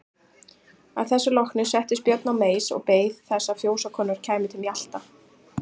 Að þessu loknu settist Björn á meis og beið þess að fjósakonur kæmu til mjalta.